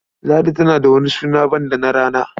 Ladi tana da wani suna banda na rana?